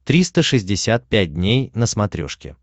триста шестьдесят пять дней на смотрешке